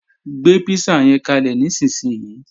Gbé písà yẹn kalẹ̀ nísinsìnyí!